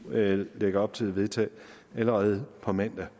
lægger op til at vedtage allerede på mandag